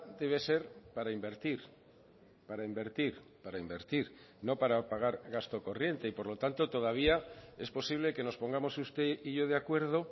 debe ser para invertir para invertir para invertir no para pagar gasto corriente y por lo tanto todavía es posible que nos pongamos usted y yo de acuerdo